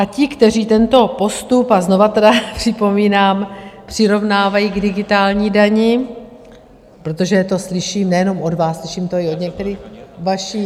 A ti, kteří tento postup, a znovu teda připomínám, přirovnávají k digitální dani, protože to slyším nejenom od vás, slyším to i od některých vašich...